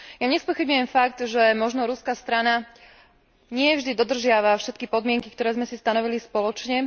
Ja nespochybňujem fakt, že možno ruská strana nie vždy dodržiava všetky podmienky, ktoré sme si stanovili spoločne.